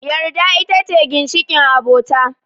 Yarda ita ce ginshiƙin abota